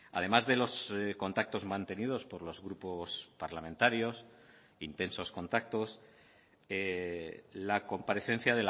además de los contactos mantenidos por los grupos parlamentarios intensos contactos la comparecencia